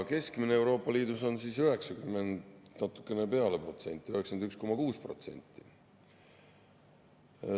Keskmine on Euroopa Liidus 90% ja natukene peale, 91,6%.